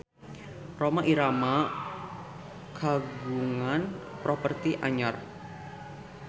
Rhoma Irama kagungan properti anyar